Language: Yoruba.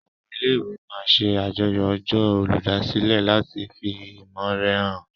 Àwọn ilé-ìwé máa n ṣe àjọyọ̀ ọjọ́ olùdásílẹ̀ láti fi ìmọ̀ore hàn